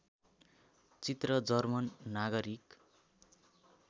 चित्र जर्मन नागरिक